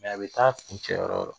a bi taa kuncɛ yɔrɔ yɔrɔ